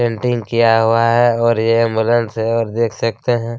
Painting किया हुआ है और यह एंबुलेंस है और देख सकते हैं।